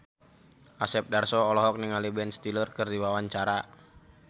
Asep Darso olohok ningali Ben Stiller keur diwawancara